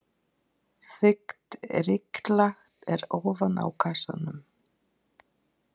Þykkt ryklag er ofan á kassanum.